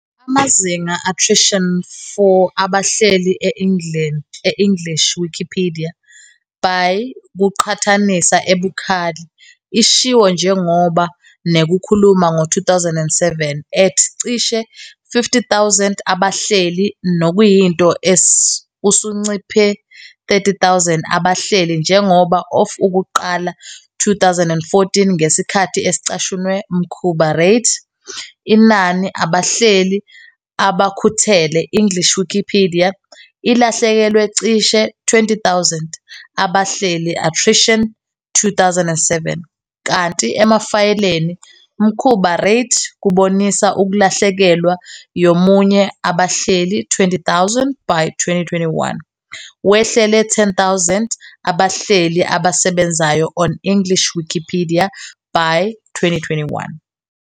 Amazinga attrition for abahleli e English Wikipedia, by kuqhathanisa ebukhali, ishiwo njengoba NEKUKHULUMA ngo 2007 at cishe 50,000 abahleli okuyinto usunciphe 30,000 abahleli njengoba of ukuqala 2014 Ngesikhathi ecashunwe mkhuba rate, inani abahleli abakhuthele English Wikipedia ilahlekelwe cishe 20,000 abahleli attrition kusukela 2007, kanti emafayeleni mkhuba rate kubonisa ukulahlekelwa yomunye abahleli 20,000 by 2021, wehlele 10,000 abahleli asebenzayo on English Wikipedia by 2021